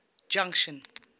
junction